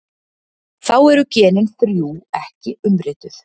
Þá eru genin þrjú ekki umrituð.